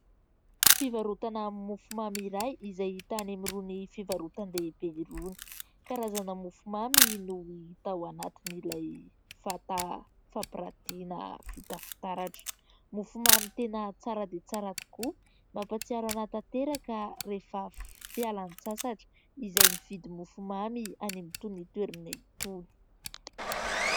Fivarotana mofomamy iray izay hita any amin'irony fivarotan-dehibe irony, karazana mofomamy no hita ao anatiny ilay vata fampirantina vita fitaratra, mofomamy tena tsara dia tsara tokoa mampahatsiaro anahy tanteraka rehefa fialan-tsasatra izay mividy mofomamy any amin'ny itony toerana itony.